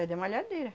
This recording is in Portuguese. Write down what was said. É de malhadeira.